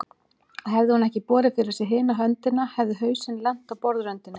Og hefði hún ekki borið fyrir sig hina höndina hefði hausinn lent á borðröndinni.